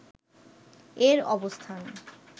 এর অবস্থান